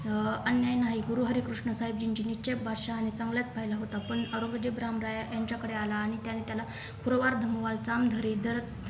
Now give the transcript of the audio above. अं अन्याय नाही गुरु हरेकृष्ण साहेबजींची निश्चय बादशाह यानी चांगलंच पाहिल होता पण औरंगजेब रामराय यांच्याकडे आला आणि त्यांनी त्याल